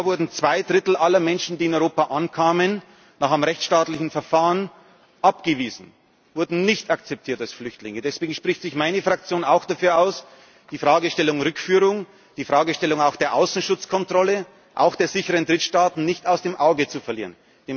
behalten. Im letzten Jahr wurden zwei Drittel aller Menschen, die in Europa ankamen, nach einem rechtsstaatlichen Verfahren abgewiesen, wurden nicht als Flüchtlinge akzeptiert. Deswegen spricht sich meine Fraktion auch dafür aus, die Fragestellung Rückführung, die Fragestellung auch der Außenschutzkontrolle, auch der sicheren Drittstaaten nicht aus dem Auge zu